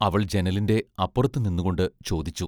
അവൾ ജനലിന്റെ അപ്പുറത്തു നിന്നുകൊണ്ട് ചോദിച്ചു.